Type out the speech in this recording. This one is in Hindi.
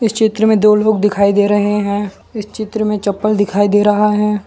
चित्र में दो लोग दिखाई दे रहे हैं इस चित्र में चप्पल दिखाई दे रहा है।